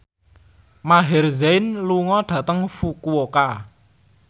Maher Zein lunga dhateng Fukuoka